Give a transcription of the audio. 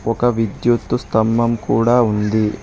ఒక విద్యుత్తు స్తంభం కూడా ఉంది.